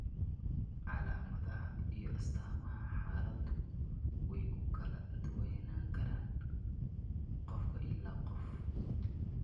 Calaamadaha iyo astaamaha xaaladdu way ku kala duwanaan karaan qof ilaa qof.